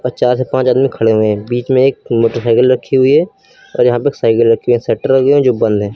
चार से पांच आदमी खड़े हुए हैं बीच में एक मोटरसाइकिल रखी हुई है और यहां पर एक साइकिल रखी हुई है शटर लगे हुए हैं जो बंद हैं।